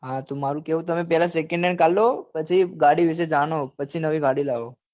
હા તો મારું કેવું પહેલું તમે second hand car લો પછી ગાડી વિશે જાણો પછી નવી ગાડી લાવો